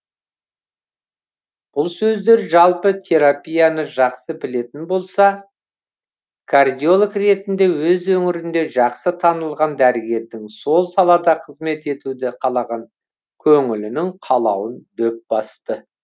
бұл сөздер жалпы терапияны жақсы білетін болса да кардиолог ретінде өз өңірінде жақсы танылған дәрігердің сол салада қызмет етуді қалаған көңілінің қалауын дөп басты